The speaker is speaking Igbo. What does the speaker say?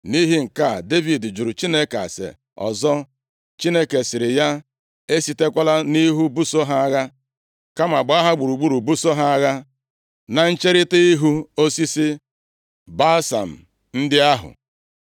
Nʼihi nke a, Devid jụrụ Chineke ase ọzọ. Chineke sịrị ya, “Esitekwala nʼihu buso ha agha, kama gbaa ha gburugburu, buso ha agha na ncherita ihu osisi balsam ndị ahụ.